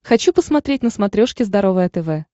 хочу посмотреть на смотрешке здоровое тв